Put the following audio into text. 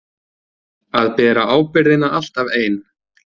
Að bera ábyrgðina alltaf ein.